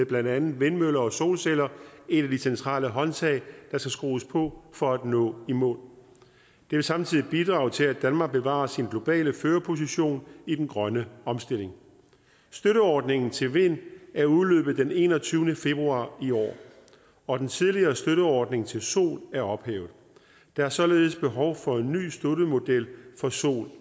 blandt andet vindmøller og solceller et af de centrale håndtag der skal skrues på for at nå i mål det vil samtidig bidrage til at danmark bevarer sin globale førerposition i den grønne omstilling støtteordningen til vind er udløbet den enogtyvende februar i år og den tidligere støtteordning til sol er ophævet der er således behov for en ny støttemodel for sol